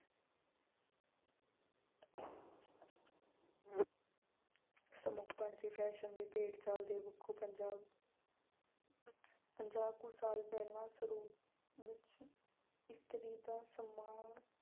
ਸਮਰਪਣ ਅਤੇ fashion ਦੇ ਭੇਡ ਚਾਲ ਦੇ ਪੱਖੋਂ ਪੰਜਾਬ ਪੰਜਾਹ ਕੁ ਸਾਲ ਪਹਿਲਾਂ ਵਿੱਚ ਇਸਤਰੀ ਦਾ ਸਨਮਾਨ